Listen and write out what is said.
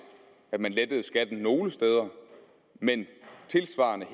at man lettede skatten nogle steder men tilsvarende